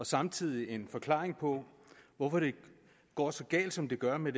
samtidig en forklaring på hvorfor det går så galt som det gør med